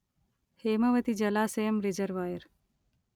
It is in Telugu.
హేమవతి జలాశయం రిజర్వాయర్